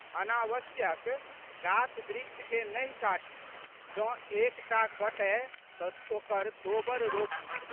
अनावश्यक गाछबृक्षकेँ नहि काटी। जौं एक टा कटए तऽ ओकर दोबर रोपी।